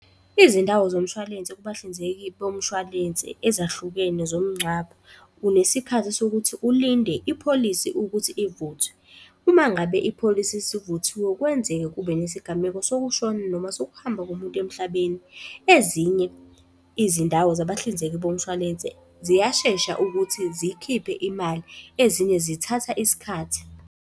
Izindawo zomshwalense kubahlinzeki bomshwalense ezahlukene zomngcwabo, unesikhathi sokuthi ulinde ipholisi ukuthi ivuthwe. Uma ngabe ipholisi isivuthiwe kwenzeke kube nesigameko sokushona noma sokuhamba komuntu emhlabeni. Ezinye izindawo zabahlinzeki bomshwalense ziyashesha ukuthi ziykhiphe imali, ezinye zithatha isikhathi.